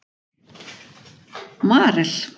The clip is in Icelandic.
Marel